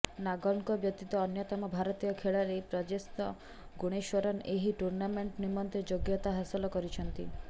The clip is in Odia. ନାଗଲ୍ଙ୍କ ବ୍ୟତିତ ଅନ୍ୟତମ ଭାରତୀୟ ଖେଳାଳି ପ୍ରଜ୍ନେଶ ଗୁଣେଶ୍ବରନ୍ ଏହି ଟୁର୍ଣ୍ଣାମେଣ୍ଟ ନିମନ୍ତେ ଯୋଗ୍ୟତା ହାସଲ କରିଛନ୍ତି